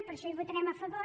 per això hi votarem a favor